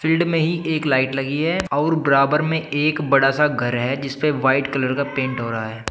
पेड़ में ही एक लाइट लगी है और बराबर में एक बड़ा सा घर है जिस पर व्हाइट कलर का पेंट हो रहा है।